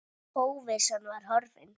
Óvissan var horfin.